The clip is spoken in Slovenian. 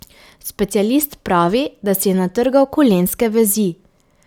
Specialist pravi, da si je natrgal kolenske vezi.